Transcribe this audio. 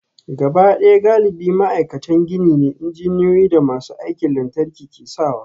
Gabaɗaya galibi ma'aikatan gini ne, injiniyoyi da masu aikin lantarki ke sawa